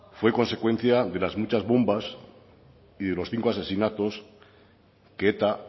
fue consecuencia de las muchas bombas y de los cinco asesinatos que eta